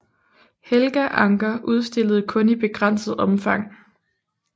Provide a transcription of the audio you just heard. Helga Ancher udstillede kun i begrænset omfang